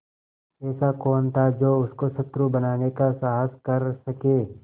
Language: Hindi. ऐसा कौन था जो उसको शत्रु बनाने का साहस कर सके